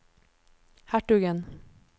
hertugen